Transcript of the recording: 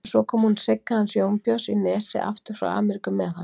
En svo kom hún Sigga hans Jónbjörns í Nesi aftur frá Ameríku með hann